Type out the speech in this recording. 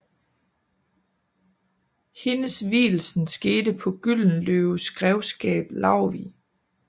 Hendes vielsen skete på Gyldenløves grevskab Laurvig